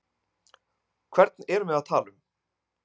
Hvern erum við að tala um?